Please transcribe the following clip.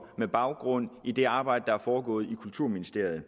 med baggrund i det arbejde der er foregået i kulturministeriet